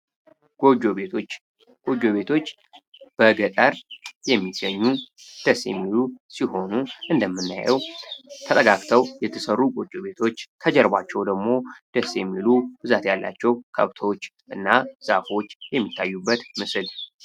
ጎጆ ቤቶች ቤቶች በገጠር የሚሆን ደስ የሚሆኑ እንደምናየው ተረጋግተው የተሰሩ ቤቶች ከጀርባቸው ደግሞ ደስ የሚሉ ብዛት ያላቸው ከብቶች እና ዛፎች ምስል